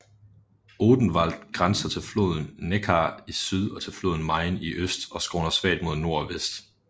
Odenwald grænser til floden Neckar i syd og til floden Main i øst og skråner svagt mod nord og vest